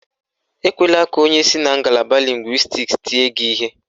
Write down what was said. Ekwela ka onye si na ngalaba lịngwịstiks tie gị ihe.